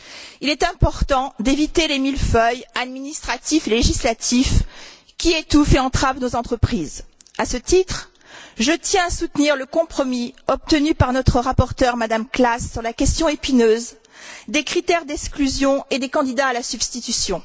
Il est important d'éviter les millefeuilles administratifs et législatifs qui étouffent et entravent nos entreprises. À ce titre, je tiens à soutenir le compromis obtenu par notre rapporteure, Mme Klass, sur la question épineuse des critères d'exclusion et des candidats à la substitution.